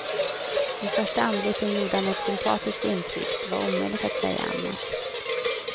Vid första anblicken gjorde han ett sympatiskt intryck, det var omöjligt att säga annat.